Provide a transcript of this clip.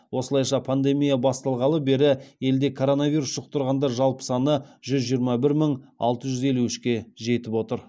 осылайша пандемия басталғалы бері елде коронавирус жұқтырғандар жалпы саны жүз жиырма бір мың алты жүз елу үшке жетіп отыр